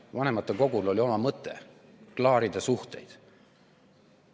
Vanematekogul oli oma mõte – klaarida suhteid.